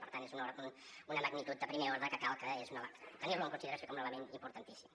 per tant és una magnitud de primer ordre que cal tenir·la en consideració com un element importantíssim